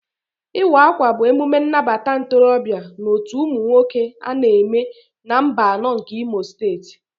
Iwa akwa bụ emume nnabata ntorobịa na otú ụmụ nwoke ana eme na mbano nke imo steeti.